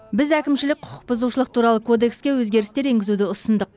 біз әкімшілік құқық бұзушылық туралы кодекске өзгерістер енгізуді ұсындық